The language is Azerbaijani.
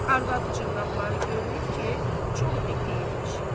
Arvadının dırnaqları görünür ki, çox iti imiş.